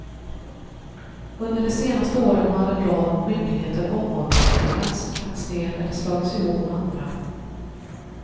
Under de senaste åren har en rad myndigheter omorganiserats, lagts ner eller slagits ihop med andra.